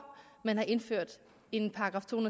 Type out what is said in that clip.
at man har indført en § to